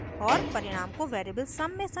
और परिणाम को variable sum sum में संचित करते हैं